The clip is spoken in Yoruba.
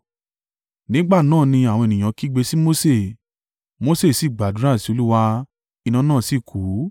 Nígbà náà ni àwọn ènìyàn kígbe sí Mose, Mose sì gbàdúrà sí Olúwa iná náà sì kú.